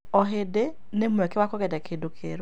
O hĩndĩ nĩ mweke wa kũgeria kĩndũ kĩerũ.